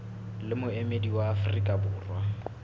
le moemedi wa afrika borwa